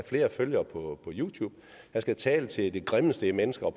flere følgere på youtube han skal tale til det grimmeste i mennesker og